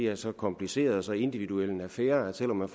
er så kompliceret og så individuel en affære at selv om man